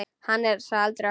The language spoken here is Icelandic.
Hann er sá eldri okkar.